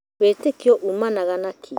Wĩtĩkio ũmanaga na kĩĩ?